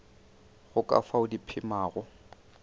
go ka fao di phemago